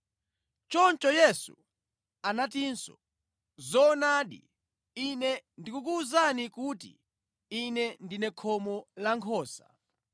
Choncho Yesu anatinso, “Zoonadi, Ine ndikukuwuzani kuti Ine ndine khomo la nkhosa.